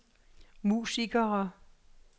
musikere